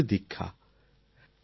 নাগপুরে দীক্ষা